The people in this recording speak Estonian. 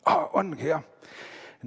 Aa, ongi jah!